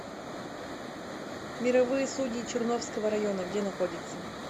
мировые судьи черновского района где находится